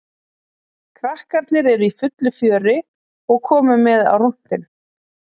Krakkarnir eru í fullu fjöri og komu með á rúntinn.